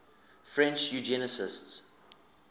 french eugenicists